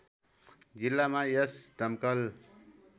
जिल्लामा यसका दमकल